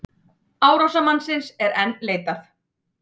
Árásarmannsins er enn leitað